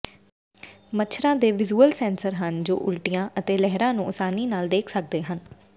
ਮੱਛਰਾਂ ਦੇ visual sensor ਹਨ ਜੋ ਉਲਟੀਆਂ ਅਤੇ ਲਹਿਰਾਂ ਨੂੰ ਆਸਾਨੀ ਨਾਲ ਦੇਖ ਸਕਦੇ ਹਨ